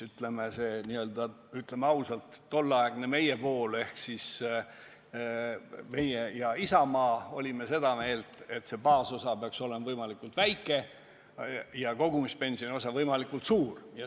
Ütlen ausalt, et tolleaegne nn meie pool – meie ja Isamaa – oli seda meelt, et see baasosa peaks olema võimalikult väike ja kogumispensioni osa võimalikult suur.